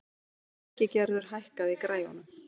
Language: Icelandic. Ingigerður, hækkaðu í græjunum.